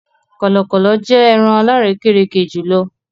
Kọlọkọlọ jẹ ẹ̀ràṇkò alàrèkèrèkè jùlọ̀.